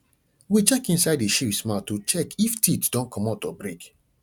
we check inside the sheeps mouth to check if teeth don commot or break